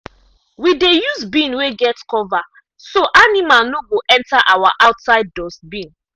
we dey use bin wey get cover so animal no go enter our outside dustbin.